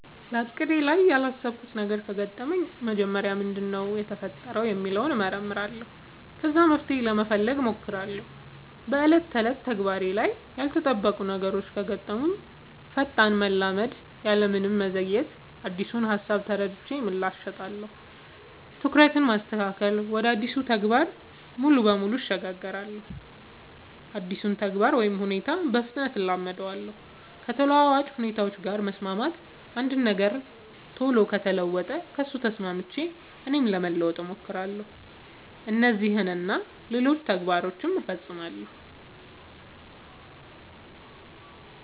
በእቅዴ ላይ ያላሰብኩት ነገር ከገጠመኝ መጀመሪያ ምንድነው የተፈጠረው ሚለውን እመረምራለሁ ከዛ መፍትሄ ለመፈለግ ሞክራለው በ ዕለት ተዕለት ተግባሬ ላይ ያልተጠበቁ ነገሮች ከገጠሙኝ ፈጣን መላመድ ያለምንም መዘግየት አዲሱን ሃሳብ ተረድቼ ምላሽ እሰጣለሁ። ትኩረትን ማስተካከል ወደ አዲሱ ተግባር ሙሉ በሙሉ እሸጋገራለሁ አዲሱን ተግባር ወይ ሁኔታ በፍጥነት እላመዳለው። ከተለዋዋጭ ሁኔታዎች ጋር መስማማት አንድ ነገር ቶሎ ከተለወጠ ከሱ ተስማምቼ እኔም ለመለወጥ ሞክራለው። እነዚህን እና ሌሎችም ተግባር ፈፅማለው።